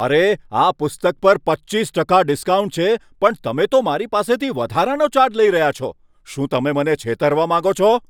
અરે! આ પુસ્તક પર પચીસ ટકા ડિસ્કાઉન્ટ છે પણ તમે તો મારી પાસેથી વધારાનો ચાર્જ લઈ રહ્યા છો. શું તમે મને છેતરવા માંગો છો?